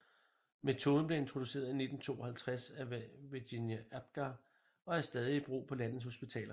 Metoden blev introduceret i 1952 af Virginia Apgar og er stadig i brug på landets hospitaler